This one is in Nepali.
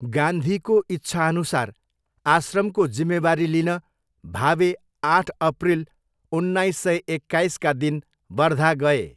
गान्धीको इच्छाअनुसार आश्रमको जिम्मेवारी लिन भावे आठ अप्रिल उन्नाइस सय एक्काइसका दिन वर्धा गए।